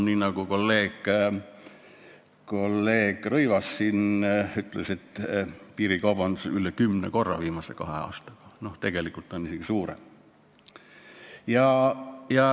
Nii nagu kolleeg Rõivas siin ütles, piirikaubandus on kasvanud üle kümne korra viimase kahe aastaga, tegelikult isegi rohkem.